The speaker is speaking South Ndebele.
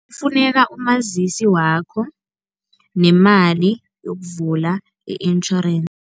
Kufuneka umazisi wakho nemali yokuvula i-insurance.